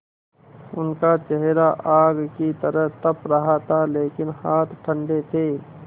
उनका चेहरा आग की तरह तप रहा था लेकिन हाथ ठंडे थे